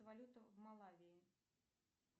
валюта в малавии